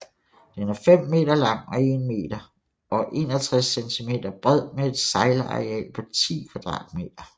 Den er 5 meter lang og 1 meter og 61 centimeter bred med et sejlareal på 10 kvadratmeter